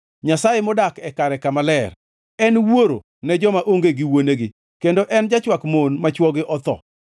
Nyasaye modak kare kama ler. En wuoro ne joma onge gi wuonegi kendo en jachwak mon ma chwogi otho.